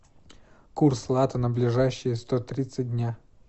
курс лата на ближайшие сто тридцать дня